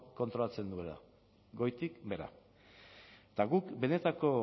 kontrolatzen duela goitik behera eta guk benetako